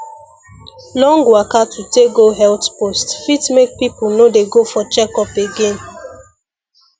long waka to take go health post fit make people no dey go for checkup again